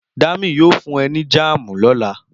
Dami yóò fún ẹ ní jáàmù lóla